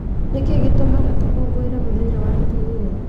Nĩkĩ gĩtũmaga tũkũngũĩre mũthenya wa atumia?